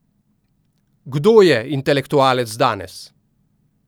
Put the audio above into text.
Kdo je intelektualec danes?